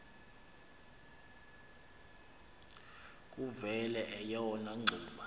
kuvele eyona ngxuba